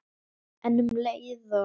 En um leið og